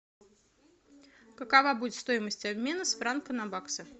какова будет стоимость обмена с франка на баксы